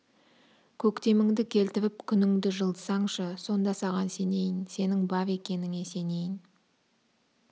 көктеміңді келтіріп күніңді жылытсаңшы сонда саған сенейін сенің бар екеніңе сенейін